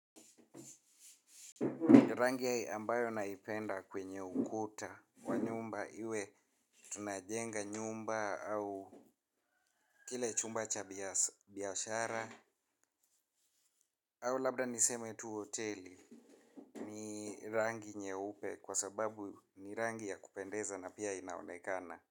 Rangi ambayo naipenda kwenye ukuta wa nyumba iwe tunajenga nyumba au kile chumba cha biyashara au labda niseme tu hoteli ni rangi nyeupe kwa sababu ni rangi ya kupendeza na pia inaonekana.